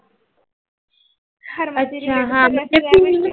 यछ्या म्हणजे तीन